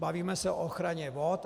Bavíme se o ochraně vod.